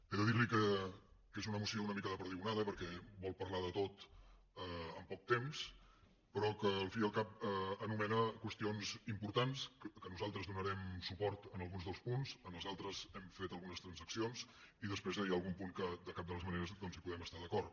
he de dir li que és una moció una mica de perdigonada perquè vol parlar de tot en poc temps però que al cap i a la fi anomena qüestions importants que nosaltres donarem suport en alguns dels punts en els altres hi hem fet algunes transaccions i després hi ha algun punt en què de cap de les maneres doncs hi podem estar d’acord